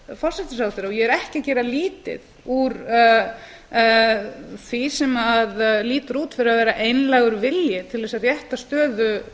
forsætisráðherra ég er ekki að gera lítið úr því sem lítur út fyrir að vera einlægur vilji til að rétta stöðu